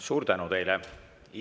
Suur tänu teile!